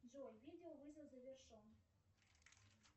джой видео вызов завершен